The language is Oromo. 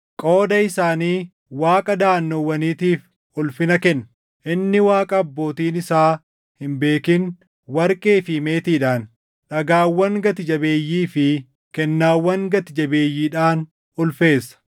Qooda isaanii waaqa daʼannoowwaniitiif ulfina kenna; inni waaqa abbootiin isaa hin beekin warqee fi meetiidhaan, dhagaawwan gati jabeeyyii fi kennaawwan gati jabeeyyiidhaan ulfeessa.